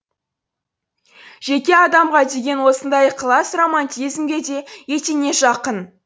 жеке адамға деген осындай ықылас романтизмге де етене жақын